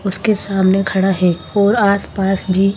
उसके सामने खड़ा है और आसपास भी।